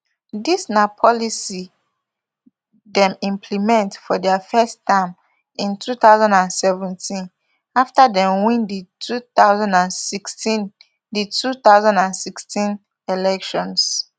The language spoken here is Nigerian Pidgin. dis na policy dem implement for dia first term in two thousand and seventeen afta dem win di two thousand and sixteen di two thousand and sixteen elections